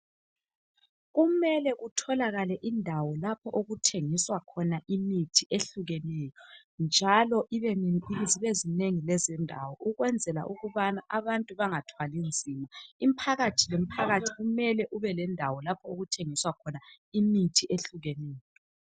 Kumele kutholakale indawo lapho okuthengiswa khona imithi ehlukeneyo, njalo zibezinengi lezindawo ukwenzela ukubana abantu bangathwali nzima, imphakathi le mphakathi kumele kubelendawo lapho okuthengiswa khona imithi ehlukeneyo.